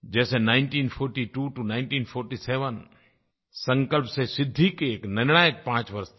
जैसे 1942 टो 1947 संकल्प से सिद्धि के एक निर्णायक पाँच वर्ष थे